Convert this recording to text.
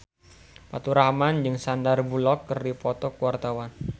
Faturrahman jeung Sandar Bullock keur dipoto ku wartawan